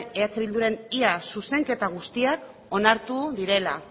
eh bilduren ia zuzenketa guztiak onartu direla